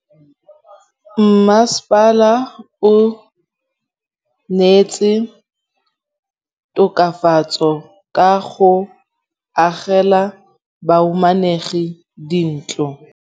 Mmasepala o neetse tokafatsô ka go agela bahumanegi dintlo.